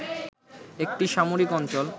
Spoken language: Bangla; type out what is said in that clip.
একটি সামরিক অঞ্চল